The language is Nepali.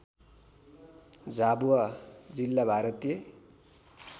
झाबुआ जिल्ला भारतीय